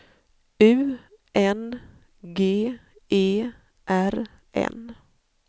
U N G E R N